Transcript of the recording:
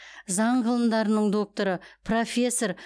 заң ғылымдарының докторы профессор